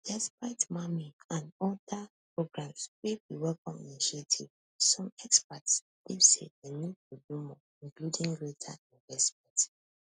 despite mamii and oda programmes wey be welcome initiatives some experts believe say dem need to do more including greater investment